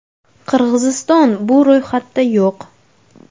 Qirg‘iziston bu ro‘yxatda yo‘q.